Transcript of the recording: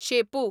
शेपू